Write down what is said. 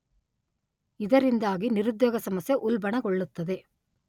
ಇದರಿಂದಾಗಿ ನಿರುದ್ಯೋಗ ಸಮಸ್ಯೆ ಉಲ್ಬಣಗೊಳ್ಳುತ್ತದೆ.